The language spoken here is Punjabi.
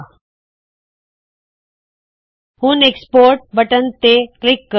ਹੁਣ ਐਕਸਪੋਰਟ ਐਕਸਪੋਰਟ ਬਟਨ ਤੇ ਕਲਿੱਕ ਕਰੋ